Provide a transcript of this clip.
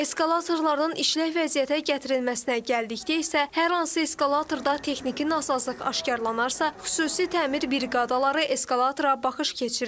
Eskalatorların işlək vəziyyətə gətirilməsinə gəldikdə isə hər hansı eskalatorda texniki nasazlıq aşkarlanarsa, xüsusi təmir briqadaları eskalatora baxış keçirir.